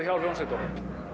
hjá hljómsveitunum